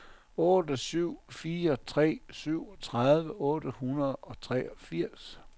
otte syv fire tre syvogtredive otte hundrede og treogfirs